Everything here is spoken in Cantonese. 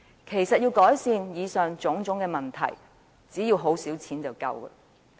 其實，要改善以上種種問題，只要動用很少撥款便已足夠。